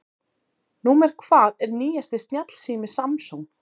Númer hvað er nýjasti snjallsími Samsung?